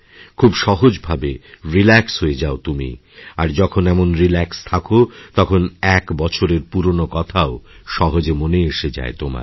খুবসহজভাবে relax হয়ে যাও তুমি আর যখন এমন রিল্যাক্স থাক তখন এক বছরের পুরনো কথাও সহজে মনে এসে যায় তোমার